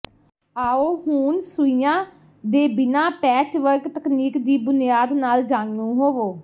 ਆਉ ਹੁਣ ਸੂਈਆਂ ਦੇ ਬਿਨਾਂ ਪੈਚਵਰਕ ਤਕਨੀਕ ਦੀ ਬੁਨਿਆਦ ਨਾਲ ਜਾਣੂ ਹੋਵੋ